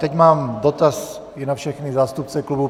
Teď mám dotaz i na všechny zástupce klubů.